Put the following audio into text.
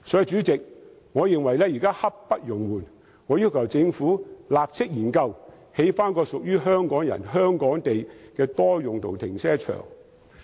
主席，我認為現時刻不容緩，我要求政府立即研究興建一個屬於香港人、香港地的多用途停車場。